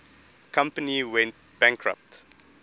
company went bankrupt